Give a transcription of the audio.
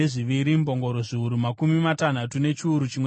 mbongoro zviuru makumi matanhatu nechiuru chimwe chete